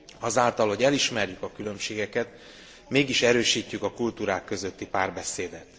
Azáltal, hogy elismerjük a különbségeket, mégis erősítjük a kultúrák közötti párbeszédet.